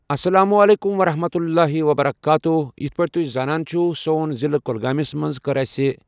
اسلامُ علیکم ورحمتہ اللّہِ وبرکاتُہُ یِتھ پأٹھۍ تُہۍ زانان چھُو سون ضعلہٕ کۄلگأمِس منٛز کٔر أسۍ